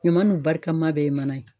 Ɲama n'u barikama bɛɛ ye mana ye